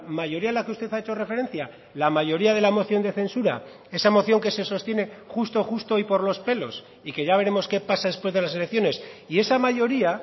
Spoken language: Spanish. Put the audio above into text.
mayoría a la que usted ha hecho referencia la mayoría de la moción de censura esa moción que se sostiene justo justo y por los pelos y que ya veremos qué pasa después de las elecciones y esa mayoría